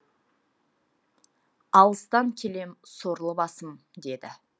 алыстан келем сорлы басым деді